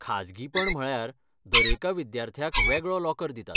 खाजगीपण म्हळ्यार दरेका विद्यार्थ्याक वेगळो लॉकर दितात.